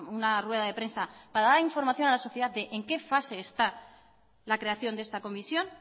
una rueda de prensa para dar información a la sociedad de en qué fase está la creación de esta comisión